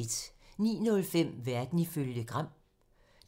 09:05: Verden ifølge Gram